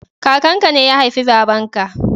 Kakan ka ne ya haifi baban ka